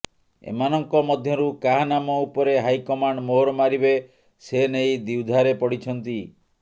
ଏମାନଙ୍କ ମଧ୍ୟରୁ କାହା ନାମ ଉପରେ ହାଇକମାଣ୍ଡ ମୋହର ମାରିବେ ସେ ନେଇ ଦ୍ୱିଧାରେ ପଡିଛନ୍ତି